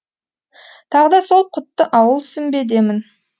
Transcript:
тағы да сол құтты ауыл сүмбедемін